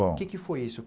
Bom. O que que foi isso?